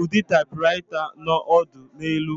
Ụdị typewriter ahụ nọ ọdụ n'elu